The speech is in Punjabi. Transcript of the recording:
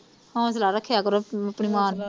ਹੌਸਲਾ ਰੱਖਿਆ ਕਰੋ ਆਪਣੀ ਮਾਂ ਨੂੰ